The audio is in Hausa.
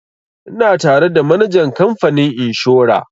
Ina tare da manajan kamfanin inshora